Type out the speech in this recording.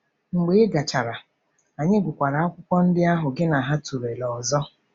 Mgbe ị gachara, anyị gụkwara akwụkwọ ndị ahụ gị na ha tụlere ọzọ.